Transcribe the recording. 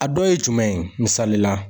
A dɔ ye jumɛn ye misali la.